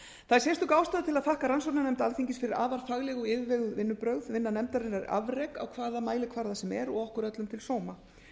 það er sérstök ástæða til að þakka rannsóknarnefnd alþingis fyrir afar fagleg og yfirveguð vinnubrögð vinna nefndarinnar er afrek á hvaða mælikvarða sem er og okkur öllum til sóma